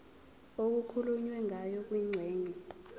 okukhulunywe ngayo kwingxenye